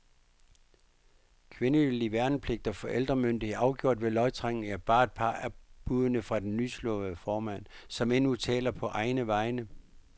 Kvindelig værnepligt og forældremyndighed, afgjort ved lodtrækning, er bare et par af buddene fra den nyslåede formand, som endnu taler på egne vegne.